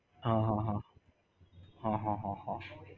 હ હ હ હ હ હ હ